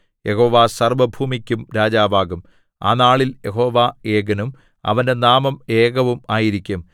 യഹോവ സർവ്വഭൂമിക്കും രാജാവാകും ആ നാളിൽ യഹോവ ഏകനും അവന്റെ നാമം ഏകവും ആയിരിക്കും